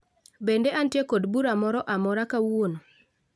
Bende antiere kod bura moro amora kawuono